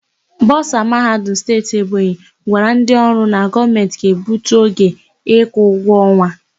Bọsa Mahadum Steeti Ebonyi gwara ndị ọrụ na Gọọmentị ga-egbutu oge ịkwụ ụgwọ ọnwa.